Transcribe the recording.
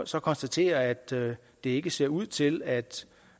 så konstatere at det ikke ser ud til at